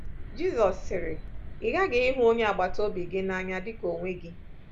Jizọs sịrị: Ị ghaghị ịhụ onye agbata obi gị n’anya dị ka onwe gị.